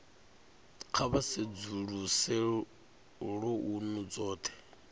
kha vha sedzuluse lounu dzothe